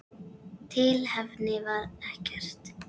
Tilefni var ekkert.